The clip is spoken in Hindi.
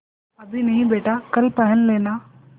अभी नहीं बेटा कल पहन लेना